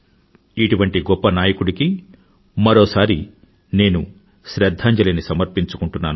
ఇటువంటి గొప్ప నాయకుడికి మరోసారి నేను శ్రధ్ధాంజలిని సమర్పించుకుంటున్నాను